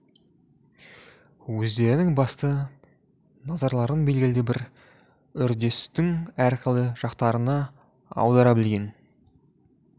өздерінің басты назарларын белгілі бір үрдестің әрқилы жақтарына аудара білген